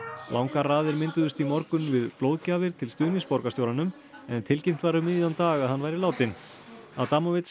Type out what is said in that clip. langar raðir mynduðust í morgun við blóðgjafir til stuðnings borgarstjóranum en tilkynnt var um miðjan dag að hann væri látinn